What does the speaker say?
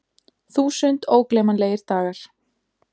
Þúsund ógleymanlegir dagar.